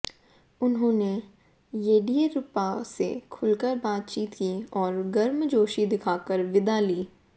उन्होंने येडियूरप्पा से खुलकर बातचीत की और गर्मजोशी दिखाकर विदा ली